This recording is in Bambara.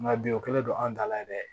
Nka bi o kɛlen don an da la ye dɛ